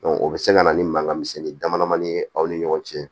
o bɛ se ka na ni mankan misɛnnin dama ni ye aw ni ɲɔgɔn cɛ